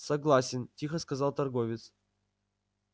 согласен тихо сказал торговец